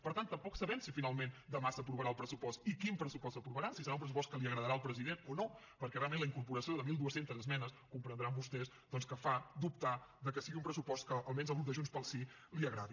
per tant tampoc sabem si finalment demà s’aprovarà el pressupost i quin pressupost s’aprovarà si serà un pressupost que li agradarà al president o no perquè realment la incorporació de mil dos cents esmenes comprendran vostès doncs que fa dubtar de que sigui un pressupost que almenys al grup de junts pel sí li agradi